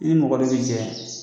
I ni mɔgɔ bɛ jɛ